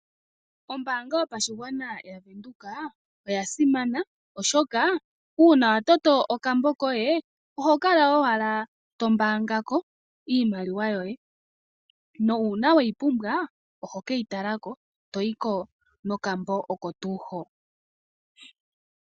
Ombaanga yopashigwana yaVeenduka Oyasimana oshoka uuna wa tameke okambo koye oho kala owala to pungulako iimaliwa yoye nuuna we yi pumbwa oho keyi talako, to yiko nokambo oko tuu hoka.